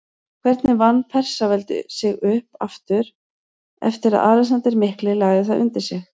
Hvernig vann Persaveldi sig upp aftur eftir að Alexander mikli lagði það undir sig?